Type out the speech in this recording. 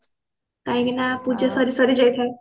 କାହିଁକି ନା ପୂଜା ସରି ସରି ଯାଇଥାଏ